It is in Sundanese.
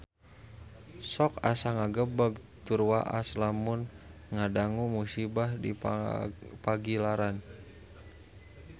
Sok asa ngagebeg tur waas lamun ngadangu musibah di Pagilaran